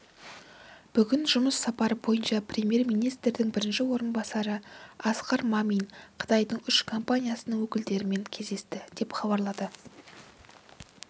бүгін жұмыс сапары барысында премьер-министрінің бірінші орынбасары асқар мамин қытайдың үш компаниясының өкілдерімен кездесті деп хабарлады